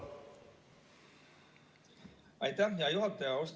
Aitäh, hea juhataja!